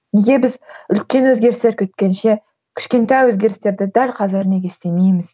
неге біз үлкен өзгерістер күткенше кішкентай өзгерістерді дәл қазір неге істемейміз